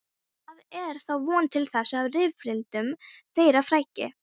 Það er þá von til þess að rifrildum þeirra fækki.